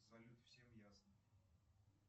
салют всем ясно